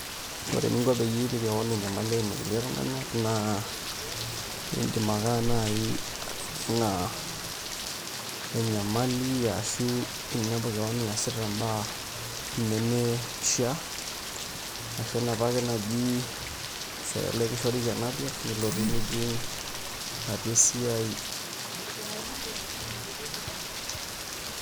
Ore eninko peyie ipik keon enyamali